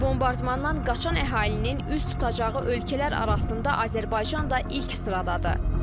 Bombardmandan qaçan əhalinin üz tutacağı ölkələr arasında Azərbaycan da ilk sıradadır.